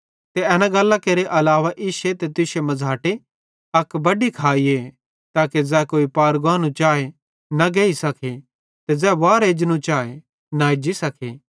ते एन गल्लां केरे अलावा इश्शे ते तुश्शे मझ़ाटे अक बड्डी खाईए ताके ज़ै कोई पार गानू चाए न गेइ सखे ते ज़ै वार एजनू चाए न एज्जी सखे